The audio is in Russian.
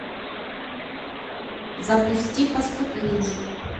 запусти поступление